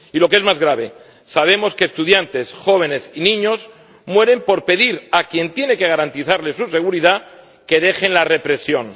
Y lo que es más grave, sabemos que estudiantes, jóvenes y niños mueren por pedir a quien tiene que garantizarles su seguridad que deje la represión.